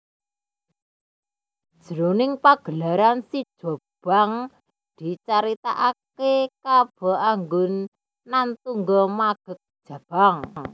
Jroning pagelaran sijobang dicaritakaké Kaba Anggun Nan Tungga Magek Jabang